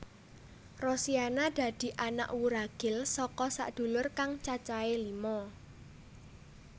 Rosiana dadi anak wuragil saka sadulur kang cacahé lima